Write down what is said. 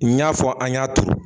N y'a fɔ an ɲ'a turu